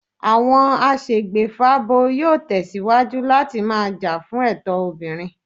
Àwọn aṣègbèfábo yóò tẹ̀síwájú láti máa jà fún ẹ̀tọ́ obìnrin